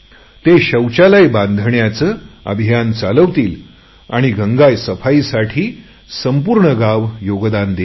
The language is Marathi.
ते शौचालय बनवायचे अभियान चालवतील आणि गंगा सफाईसाठी संपूर्ण गाव योगदान देईल